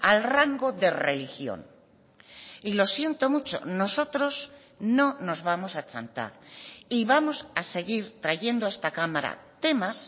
al rango de religión y lo siento mucho nosotros no nos vamos a achantar y vamos a seguir trayendo a esta cámara temas